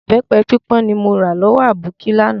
Ìbẹpẹ pípọ́n ni mo ra lọ́wọ́ aboki láánaà